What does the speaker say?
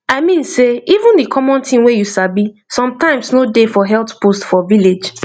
i mean sey even the common thing dem you sabi sometimes no dey for health post for village